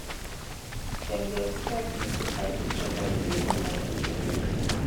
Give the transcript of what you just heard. dem dey expect make i dey chop all di moni wey i dey make make